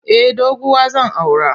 Eh doguwa zan aura.